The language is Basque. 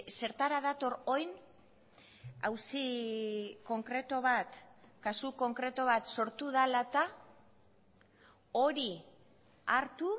zertara dator orain auzi konkretu bat kasu konkretu bat sortu dela eta hori hartu